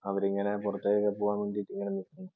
അവരിങ്ങനെ പുറത്തേക്കൊക്കെ പോകാൻ വേണ്ടി നിക്കുന്നു.